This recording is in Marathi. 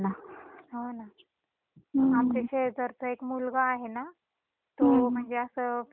आमच्या शेजारचा एक मुलगा आहे ना तो म्हणजे अस फिरायसाठी गेला ग बाहेर